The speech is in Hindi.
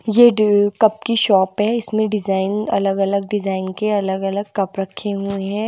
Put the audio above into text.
ये डीव कप की शॉप है इसमें डिजाइन अलग अलग डिजाइन के अलग अलग कप रखे हुए हैं--